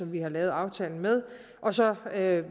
vi har lavet aftalen med og så